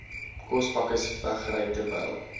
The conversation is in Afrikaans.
kospakkes wegry terwyl